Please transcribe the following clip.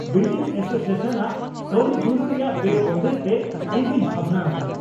Building association ᱟᱜ ᱠᱟᱹᱣᱰᱤ ᱡᱩᱲᱩ ᱨᱮᱭᱟᱜ ᱵᱮᱼᱵᱚᱱᱫᱮᱡ ᱛᱮ ᱤᱧ ᱫᱩᱧ ᱵᱷᱟᱵᱽᱱᱟ ᱟᱠᱟᱱᱟ ᱾